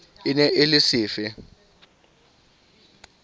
e ne e le sefe